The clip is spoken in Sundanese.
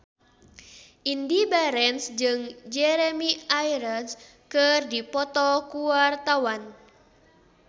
Indy Barens jeung Jeremy Irons keur dipoto ku wartawan